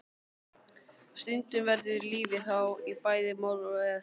Stundum verður lífið þá í bæði moll og es.